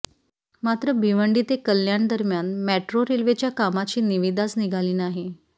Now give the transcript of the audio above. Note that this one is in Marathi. मात्र भिवंडी ते कल्याण दरम्यान मेट्रो रेल्वेच्या कामाची निविदाच निघाली नाही